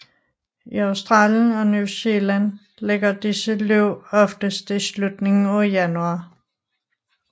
I Austalien og New Zealand ligger disse løb oftest i slutningen af januar